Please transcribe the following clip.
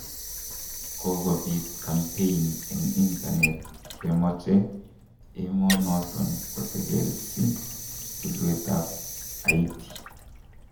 Kogobit kampein en internet kemoche emo noton kotelelsi tulwet ab Halti.